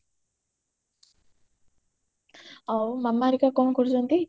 ଆଉ ମାମା ହେରିକ କଣ କରୁଛନ୍ତି